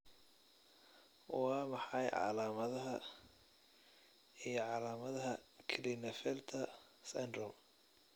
Waa maxay calaamadaha iyo calaamadaha Klinefelter syndrome?